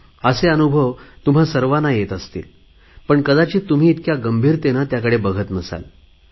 असे अनुभव तुम्हा सर्वांना येत असतील पण कदाचित तुम्ही इतक्या गंभीरतेने बघत नसाल